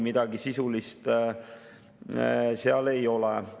Midagi sisulist seal ei ole.